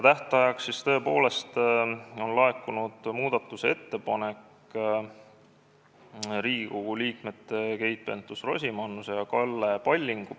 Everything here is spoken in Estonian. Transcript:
Tähtajaks oli laekunud muudatusettepanek Riigikogu liikmetelt Keit Pentus-Rosimannuselt ja Kalle Pallingult.